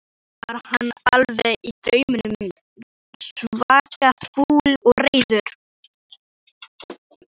Þannig var hann allavega í draumnum, svaka fúll og reiður.